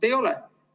Ei ole.